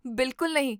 ਬਿਲਕੁਲ ਨਹੀਂ!